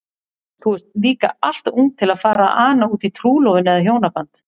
Þú ert líka alltof ung til að fara að ana útí trúlofun eða hjónaband.